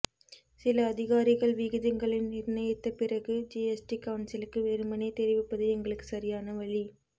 சில அதிகாரிகள் விகிதங்களை நிர்ணயித்த பிறகு ஜிஎஸ்டி கவுன்சிலுக்கு வெறுமனே தெரிவிப்பது எங்களுக்கு சரியான வழி